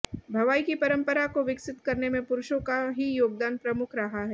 भवाई की परंपरा को विकसित करने में पुरुषों का ही योगदान प्रमुख रहा है